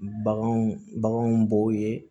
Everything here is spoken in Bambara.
Baganw baganw b'o ye